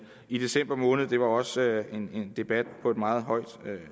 i december måned det var også en debat på et meget højt